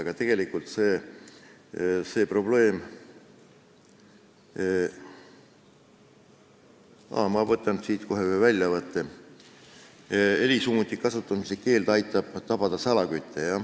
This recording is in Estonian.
Ma teen siit kohe ühe väljavõtte: helisummuti kasutamise keeld aitab tabada salakütte.